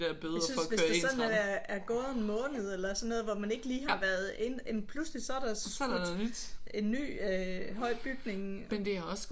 Jeg synes hvis der selv når det er er gået en måned eller sådan noget hvor man ikke lige har været inde pludselig så er der en ny øh høj bygning